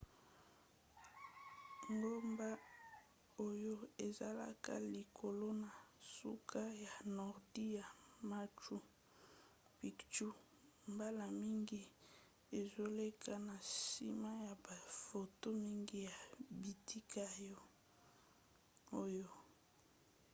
ngomba oyo ezalaka likolo na suka ya nordi ya machu picchu mbala mingi ezoleka na nsima ya bafoto mingi ya bitika oyo